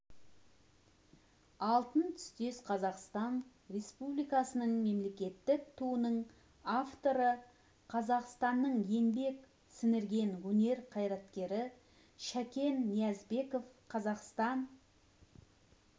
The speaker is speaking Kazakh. алтын түстес қазақстан республикасы мемлекеттік туының авторы қазақстанның еңбек сіңірген өнер қайраткері шәкен ниязбеков қазақстан